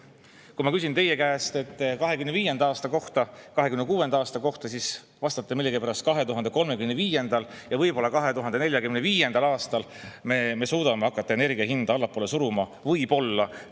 Kui ma küsin teie käest 2025. aasta kohta, 2026. aasta kohta, siis vastate millegipärast, et võib-olla 2035. ja 2045. aastal me suudame hakata energia hinda allapoole suruma – võib-olla!